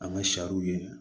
An ka sariw ye